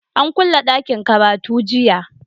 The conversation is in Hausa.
An kulle ɗakin karatu jiya.